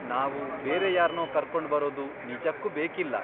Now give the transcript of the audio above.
ನಾವು ಬೇರೆ ಯಾರ್ನೋ ಕರ್ಕೊಂಡ್ಬರೋದು ನಿಜಕ್ಕೂ ಬೇಕಿಲ್ಲ.